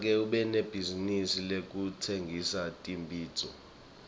make unebhizinisi yekutsengisa tibhidvo